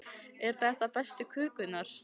Eru þetta bestu kökurnar?